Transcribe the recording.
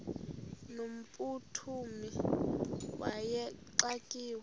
no mphuthumi wayexakiwe